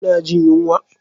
Kuna jin yunwa?